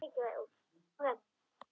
Já, sagði barnið.